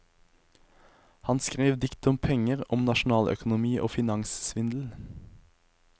Han skrev dikt om penger, om nasjonaløkonomi og finanssvindel.